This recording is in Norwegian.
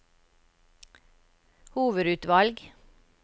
hovedutvalg